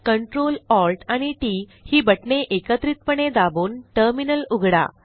Ctrl Alt आणि T T ही बटणे एकत्रितपणे दाबून टर्मिनल उघडा